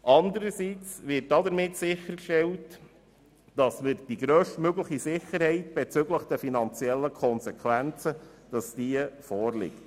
Zudem wird damit sichergestellt, dass die grösstmögliche Sicherheit bezüglich den finanziellen Konsequenzen besteht.